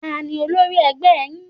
Ta ni olórí ẹgbẹ́ yín?